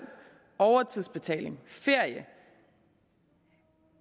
overtidsbetaling og ferie